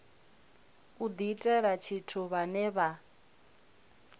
u diitela tshithu vhane vha